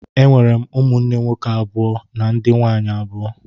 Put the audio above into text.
E nwere m ụmụnne nwoke abụ na ndị nwaanyị abụọ.